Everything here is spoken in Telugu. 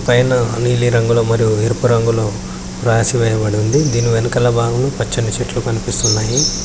పైన నీలి రంగుల మరియు ఎరుపు రంగులో రాసి వేయబడి వుంది దీని వెనకాల బాగంలో పచ్చని చెట్లు కనిపిస్తున్నాయి.